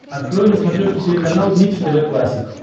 открой на смотрешке телеканал бридж тв классик